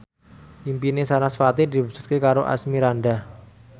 impine sarasvati diwujudke karo Asmirandah